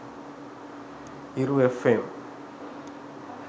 hiru fm